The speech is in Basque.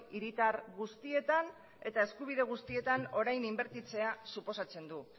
hiritar guztietan eta eskubide guztietan orain inbertitzea suposatzen du